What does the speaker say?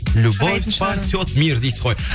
любовь спасет мир дейсіз ғой